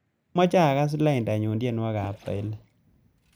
Amache agaas laindanyu tyenwogikab swailik